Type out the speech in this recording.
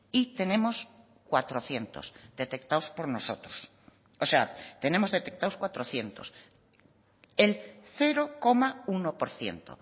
y tenemos cuatrocientos detectados por nosotros o sea tenemos detectados cuatrocientos el cero coma uno por ciento